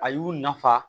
A y'u nafa